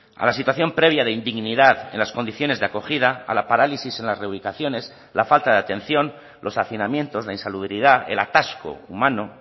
a la situación previa de indignidad en las condiciones de acogida a la parálisis en las reubicaciones la falta de atención los hacinamientos la insalubridad el atasco humano